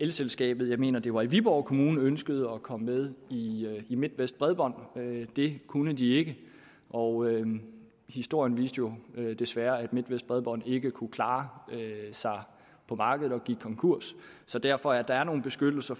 elselskabet jeg mener det var i viborg kommune ønskede at komme med i midtvest bredbånd det kunne de ikke og historien viste jo desværre at midtvest bredbånd ikke kunne klare sig på markedet og gik konkurs så derfor er der nogle beskyttelser